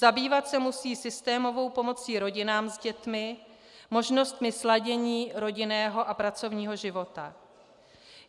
Zabývat se musí systémovou pomocí rodinám s dětmi, možnostmi sladění rodinného a pracovního života.